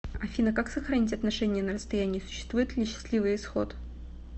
афина как сохранить отношения на расстоянии существует ли счастливый исход